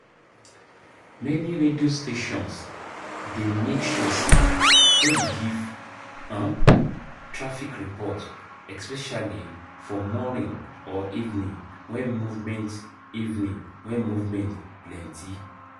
Many radio stations dey make sure sey dem give um traffic report especially for morning or evening when movement evening when movement plenty